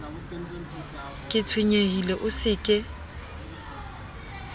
ke tshwenyehile o se ke